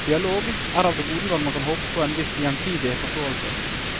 Dialog er av det gode når man kan håpe på en viss, gjensidig forståelse.